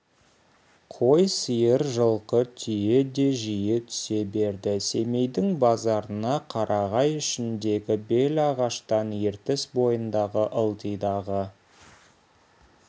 қой сиыр жылқы түйе де жиі түсе берді семейдің базарына қарағай ішіндегі белағаштан ертіс бойындағы ылдидағы